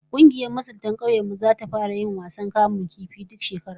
Kungiyar masuntan kaunyen mu zata fara yin bukin kamun kifi duk shekara